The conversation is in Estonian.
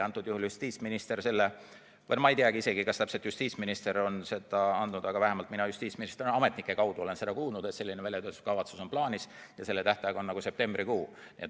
Antud juhul justiitsminister või ma ei tea isegi, kas just justiitsminister on seda lubanud, aga vähemalt mina justiitsministri ja ametnike kaudu olen kuulnud, et selline väljatöötamiskavatsus on plaanis ja selle tähtaeg on septembrikuu.